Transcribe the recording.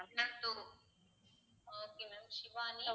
இன்னும் two ah okay ma'am Shivani